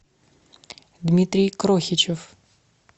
дмитрий крохичев